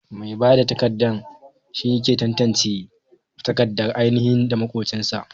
Mai bada takardar banki shine yake tantance takardar ainahi da makwafinta.